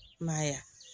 I m'a ye wa